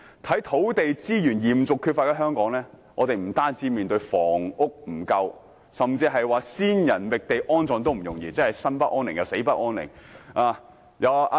在土地資源嚴重缺乏的香港，我們不僅面對房屋不足，甚至連先人覓地安葬也不容易，以致生不安寧，死也無法安息。